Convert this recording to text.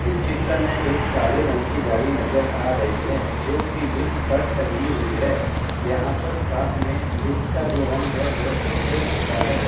इस चित्र में एक काले रंग की गाड़ी नज़र आ रही है जो की लिफ्ट पर टंगी हुई है। यहां पर साथ में लिफ्ट का जो रंग है वह संतरे रंग का है।